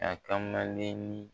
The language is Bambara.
A kamalennin